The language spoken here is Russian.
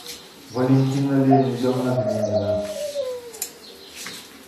валентина леонидовна двинина